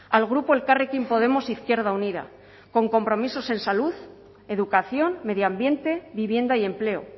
al grupo elkarrekin podemos izquierda unida con compromisos en salud educación medio ambiente vivienda y empleo